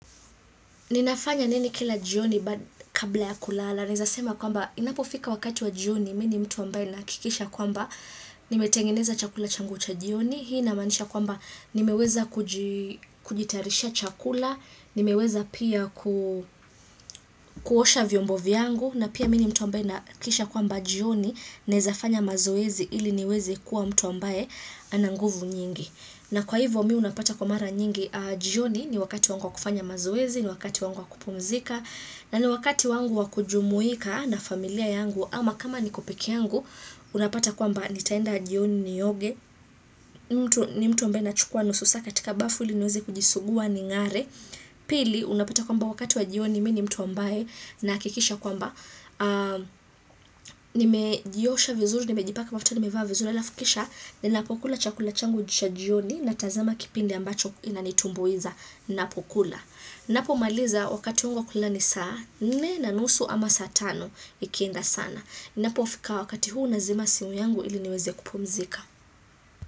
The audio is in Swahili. Ninafanya nini kila jioni baada kabla ya kulala, naeza kwamba inapofika wakati wa jioni, mimi ni mtu ambaye nahakikisha kwamba nimetengeneza chakula changu cha jioni, hii inamaanisha kwamba nimeweza kuji kujitatarishia chakula, nimeweza pia ku kuosha vyombo vyangu, na pia mini mtu ambaye nahakikisha kwamba jioni, naeza fanya mazoezi ili niweze kuwa mtu ambaye ana nguvu nyingi. Na kwa hivo mi unapata kwa mara nyingi jioni ni wakati wangu wa kufanya mazoezi, ni wakati wangu wa kupumzika, na ni wakati wangu wa kujumuika na familia yangu, ama kama niko peke yangu, unapata kwamba nitaenda jioni nioge, ni mtu ambaye na chukua nusu saa katika bafu ili niweze kujisugua ningare. Pili unapata kwamba wakati wa jioni mimi ni mtu ambaye nahakikisha kwamba nimejiosha vizuri nimejipaka mafuta nimevaa vizuri alafu kisha ninapokula chakula changu cha jioni natazama kipindi ambacho inanitumbuiza napokula napo maliza wakati wangu kulala ni saa nne na nusu ama saa tano ikienda sana ninapofika wakati huu nazima simu yangu ili niweze kupumzika.